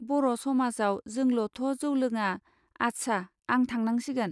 बर' समाजाव जोंलथ' जौ लोङा! आस्सा आं थांनांसिगोन.